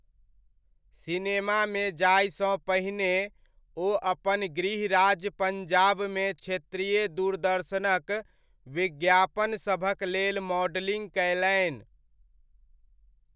सिनेमामे जायसँ पहिने ओ अपन गृहराज्य पंजाबमे क्षेत्रीय दूरदर्शनक विज्ञापनसभक लेल मॉडलिंग कयलनि।